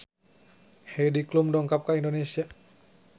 Heidi Klum dongkap ka Indonesia